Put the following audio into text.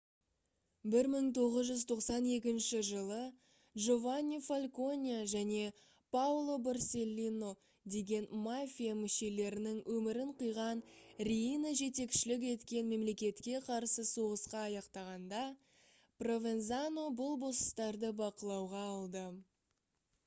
1992 жылы джованни фальконе және паоло борселлино деген мафия мүшелерінің өмірін қиған риина жетекшілік еткен мемлекетке қарсы соғысқа аяқтағанда провензано бұл босстарды бақылауға алды